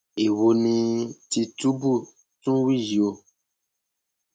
èwo ni tìtúbù tún ń wí yìí o